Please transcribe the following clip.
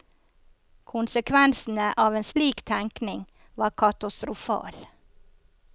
Konsekvensene av en slik tenkning var katastrofal.